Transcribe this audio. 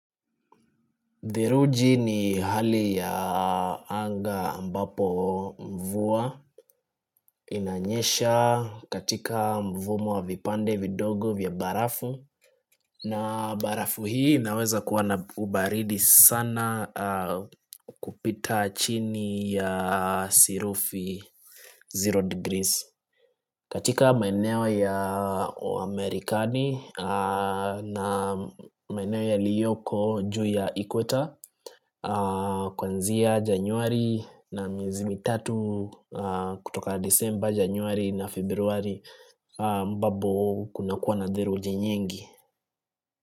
Theluji ni hali ya anga ambapo mvua inanyesha katika mfumo wa vipande vidogo vya barafu. Na barafu hii inaweza kuwa na ubaridi sana kupita chini ya sirufi zero degrees. Katika maeneo ya Amerikani na maeneo yaliyoko juu ya Ikweta Kuanzia Januari na mezii tatu kutoka December, Januari na Februari ambapo kuna kuwa na theluji nyingi.